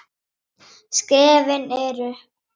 Skrefin eru